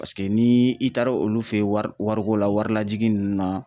Paseke ni i taara olu fe ye wari wariko la warilajigin ninnu na